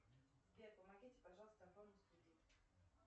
сбер помогите пожалуйста оформить кредит